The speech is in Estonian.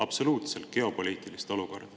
Te ei adu geopoliitilist olukorda.